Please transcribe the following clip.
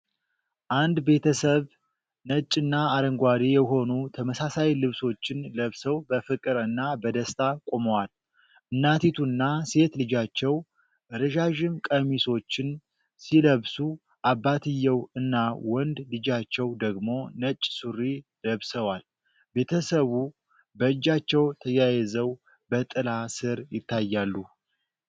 አንድ ቤተሰብ ነጭና አረንጓዴ የሆኑ ተመሳሳይ ልብሶችን ለብሰው በፍቅር እና በደስታ ቆመዋል። እናቲቱና ሴት ልጃቸው ረዣዥም ቀሚሶችን ሲለብሱ፤ አባትየው እና ወንድ ልጃቸው ደግሞ ነጭ ሱሪ ለብሰዋል። ቤተሰቡ በእጃቸው ተያይዘው በጥላ ሥር ይታያሉ።